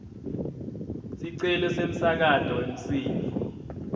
sicelo semsakato wemsindvo